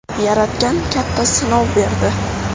Yaratgan katta sinov berdi.